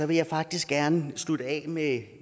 vil jeg faktisk gerne slutte af med